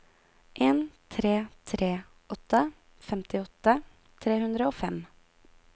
en tre tre åtte femtiåtte tre hundre og fem